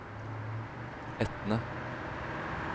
Etne